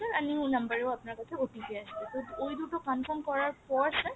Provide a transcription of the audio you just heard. আর new number এও আপনার কাছে আপনার কাছে OTP আসবে ওই দুটো confirm করার পর sir